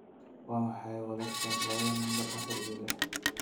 waa maxay wadarta labada lambar afar iyo lix